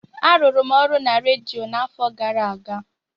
Arụrụ m ọrụ na redio n'afọ gara aga.